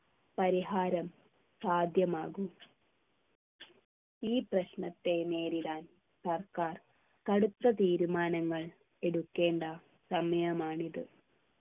പരിഹാരം സാധ്യമാകും ഈ പ്രശ്നത്തെ നേരിടാൻ സർക്കാർ കടുത്ത തീരുമാനങ്ങൾ എടുക്കേണ്ട സമയമാണിത്